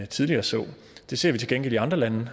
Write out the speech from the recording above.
tidligere så det ser vi til gengæld i andre lande